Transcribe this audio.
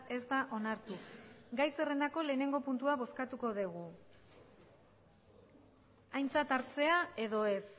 ez da onartu gai zerrendako lehenengo puntua bozkatuko dugu aintzat hartzea edo ez